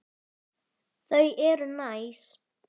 Sögur um gaman og alvöru.